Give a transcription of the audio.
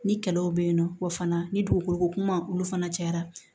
Ni kɛlɛw bɛ yen nɔ wa fana ni dugukolo ko kuma olu fana cayara